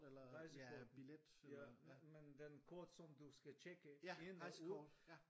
Rejsekort ja men men den kort som du skal tjekke ind og ud